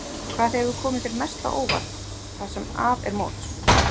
Hvað hefur komið þér mest á óvart það sem af er móts?